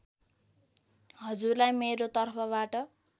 हजुरलाई मेरो तर्फबाट